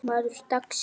Maður dagsins?